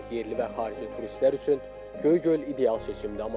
Yerli və xarici turistlər üçün Göygöl ideal seçimdir.